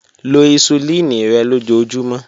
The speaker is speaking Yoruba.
Lo hisulini rẹ lojoojumọ.